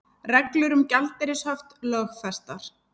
Reglur um gjaldeyrishöft lögfestar